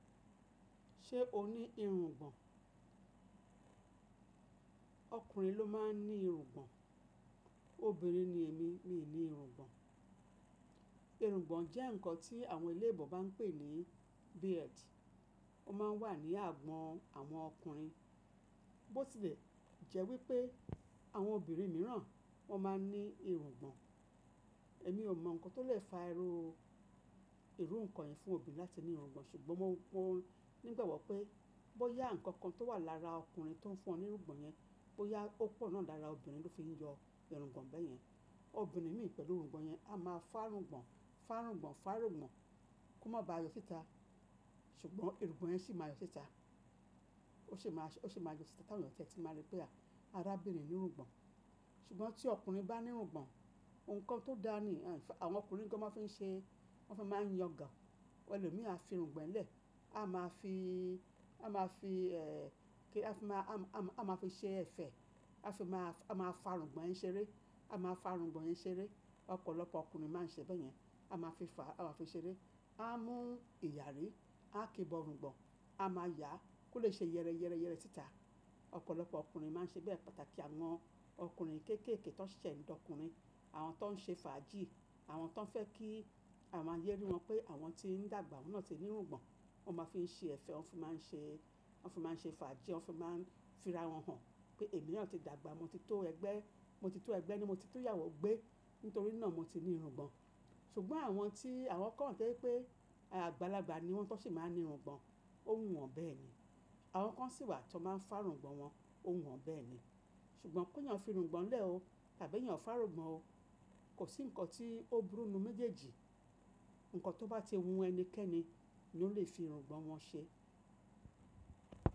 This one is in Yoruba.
Ṣé o ní irungbọ̀n? Ọkùnrin ló máa ń ní irungbọ̀n. Obìnrin ni èmi, mi ò ní irungbọ̀n. Irungbọ̀n jẹ́ ǹkan tí àwọn eléèbò bá ń pè ní beard. Ó máa ń wà ní agbọ̀n àwọn ọkùnrin. Bótí lè jẹ́ wípé àwọn obìnrin mìíràn wọ́n máa ń ní irungbọ̀n. Èmi ò mọ ǹkan tó lè fa iru, irú ǹkan yìí fún obìnrin láti ní irungbọ̀n, ṣùgbọ́n mo mọ̀ nígbàgbọ̀ pé bó yá ǹkan kan tó wà lára ọkùnrin tó ń fún ọ ní irungbọ̀n yẹn, bó yá ó pọ̀ náà lára obìnrin tó fi ń yọ irungbọ̀n bẹ́yẹn, obìnrin mìíràn pẹ̀lú irungbọ̀n yẹn á máa fárungbọ̀n, fárungbọ̀n, fárungbọ̀n kó má ba yọ síta, ṣùgbọ́n irungbọ̀n yẹn sì máa yọ síta. Ó sì máa, ó sì máa yọ síta ti awon eyan tí máa rí pé a, arábìnrin ní irungbọ̀n. Ṣùgbọ́n tí ọkùnrin bá ní irungbọ̀n, ǹkan tó dáa ni, àwọn ọkùnrin nǹkan wọn fi ń ṣe, wọ́n fi máa ń yan gàn. Ẹlòmíì á fi irungbọ̀n lẹ̀. A máa fi, a máa fi, ẹ́, kí a fi máa, a máa fi ṣé ẹ̀fẹ̀. A fi máa, a máa fárungbọ̀n yẹn ṣeré. A máa fárungbọ̀n yẹn ṣeré. Ọ̀pọ̀lọpọ̀ ọkùnrin máa ń ṣe bẹ́yẹn. A máa fi fà, a máa fi ṣeré. A mú ìyàrí, a kí bọ̀ irungbọ̀n, a máa yà á kó lè ṣe yẹ́rẹyẹ́rẹ síta. Ọ̀pọ̀lọpọ̀ ọkùnrin máa ń ṣe bẹ́ẹ̀. Pàtàkì àwọn ọkùnrin kéékèèké tó ń ṣẹ̀ se n d'ọkùnrin, àwọn tó ń ṣe fàájì, àwọn tó ń fẹ́ kí àwọn ayé rí wọn pé àwọn ti ń dàgbà, wọ́n náà ti ní irungbọ̀n, wọ́n máa fi í ṣe ẹ̀fẹ̀. Wọ́n fi máa ń ṣe, wọ́n fi máa ń ṣe fàájì. Wọ́n fi máa ń fira wọn hàn pé èmi náà ti dàgbà. Mo ti tó ẹgbẹ́, mo ti tó ẹgbẹ́ ni mo ti tó ìyàwó gbé. Nítorí náà mo ti ní irungbọ̀n. Ṣùgbọ́n àwọn tí àwọn kan mọ̀ pé àgbàlagbà ni wọ́n tó sì máa ń ní irungbọ̀n, ó wùn wọ́n bẹ́ẹ̀ ni. Àwọn kan sì wà tí wọ́n máa ń fárungbọ̀n wọn, ó wù wọ́n bẹ́ẹ̀ ni. Ṣùgbọ́n kó yàn fi irungbọ̀n lẹ̀ o tàbí yàn fárungbọ̀n o, kò sí ǹkan tí ó burú nù méjèèjì. Ǹkan tó bá ti wù ẹnikẹ́ni ni ó lè fi irungbọ̀n wọn ṣe.